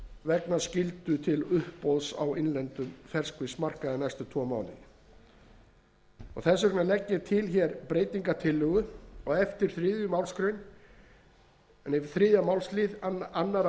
vegna skyldu til uppboðs á innlendum ferskfiskmarkaði næstu tvo mánuði fyrsti minni hluti leggur til að frumvarpið verði samþykkt með eftirfarandi breytingu á eftir þriðja málsl annars